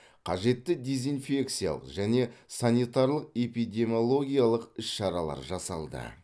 қажетті дезинфекциялық және санитарлық эпидемиологиялық іс шаралар жасалды